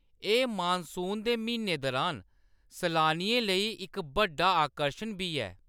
एह्‌‌ मानसून दे म्हीनें दरान सलानियें लेई इक बड्डा आकर्शन बी ऐ।